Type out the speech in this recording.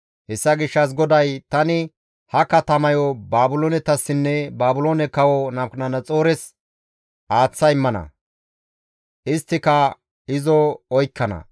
Hessa gishshas GODAY, «Tani ha katamayo Baabiloonetassinne Baabiloone kawo Nabukadanaxoores aaththa immana; isttika izo oykkana.